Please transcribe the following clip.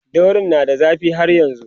daurin na da zafi har yanzun